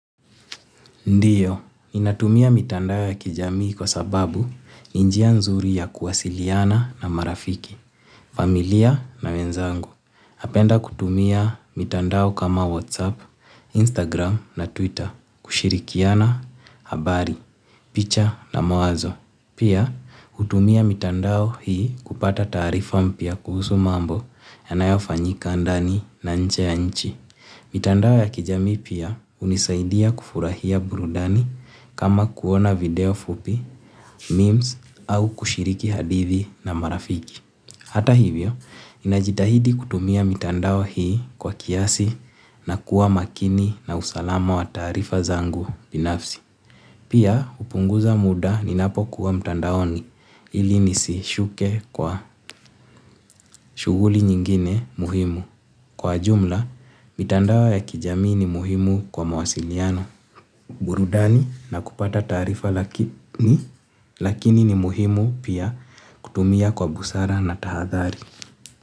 Ndiyo, ninatumia mitandao ya kijamii kwa sababu ninjia nzuri ya kuwasiliana na marafiki, familia na wenzangu. Napenda kutumia mitandao kama WhatsApp, Instagram na Twitter, kushirikiana habari, picha na mawazo. Pia, hutumia mitandao hii kupata taarifa mpya kuhusu mambo yanayofanyika ndani na nche ya nchi. Mitandao ya kijamii pia, hunisaidia kufurahia burudani, kama kuona video fupi, memes au kushiriki hadithi na marafiki. Hata hivyo, inajitahidi kutumia mitandao hii, kwa kiasi na kuwa makini na usalama wa taarifa zangu binafsi. Pia, hupunguza muda ni napo kuwa mtandaoni, ili nisishuke kwa, shughuli nyingine muhimu. Kwa jumla, mitandao ya kijami ni muhimu kwa mawasiliano, burudani na kupata taarifa lakini, lakini ni muhimu pia kutumia kwa busara na tahathari.